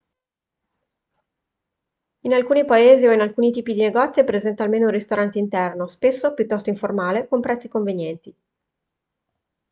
in alcuni paesi o in alcuni tipi di negozio è presente almeno un ristorante interno spesso piuttosto informale con prezzi convenienti